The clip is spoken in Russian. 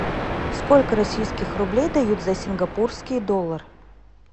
сколько российских рублей дают за сингапурский доллар